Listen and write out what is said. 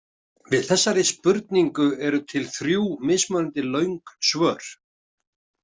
Við þessari spurningu eru til þrjú mismunandi löng svör.